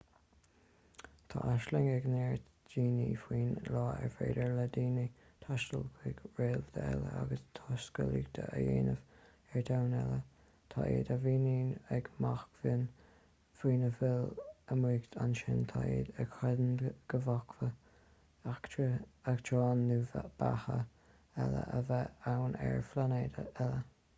tá aisling ag neart daoine faoin lá ar féidir le daoine taisteal chuig réalta eile agus taiscéalaíocht a dhéanamh ar dhomhain eile tá iad a bhíonn ag machnamh faoina bhfuil amuigh ansin tá iad a chreideann go bhféadfadh eachtráin nó beatha eile a bheith ann ar phláinéad eile